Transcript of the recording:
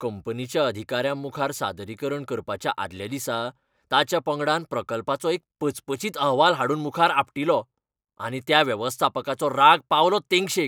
कंपनीच्या अधिकाऱ्यांमुखार सादरीकरण करपाच्या आदल्या दिसा ताच्या पंगडान प्रकल्पाचो एक पचपचीत अहवाल हाडून मुखार आपटिलो. आनी त्या वेवस्थापकाचो राग पावलो तेंगशेक.